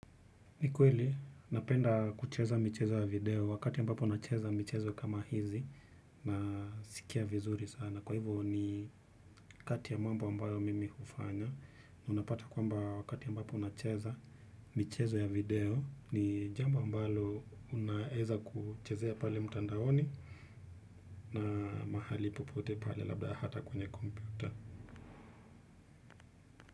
Ni kweli, napenda kucheza michezo ya video wakati ambapo unacheza michezo kama hizi unasikia vizuri sana. Kwa hivyo ni kati ya mambo ambayo mimi hufanya. Unapata kwamba wakati ambapo unacheza michezo ya video ni jambo ambalo unaeza kuchezea pale mtandaoni na mahali popote pale labda hata kwenye kompyuta.